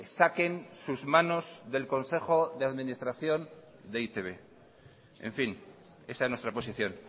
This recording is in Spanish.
saquen sus manos del consejo de administración de e i te be en fin esa es nuestra posición